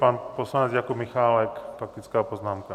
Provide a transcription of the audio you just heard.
Pan poslanec Jakub Michálek, faktická poznámka.